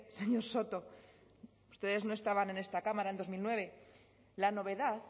señor soto ustedes no estaban en esta cámara en dos mil nueve la novedad